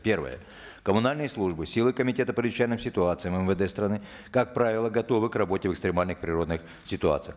первое коммунальные службы силы комитета по чрезвычайным ситуациям мвд страны как правило готовы к работе в экстремальных природных ситуациях